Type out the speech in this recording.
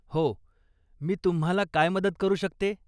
हो, मी तुम्हाला काय मदत करू शकते?